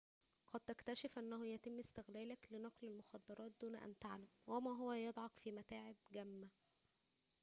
قد تكتشف أنه يتم استغلالك لنقل المخدرات دون أن تعلم وهو ما يضعك في متاعبٍ جمة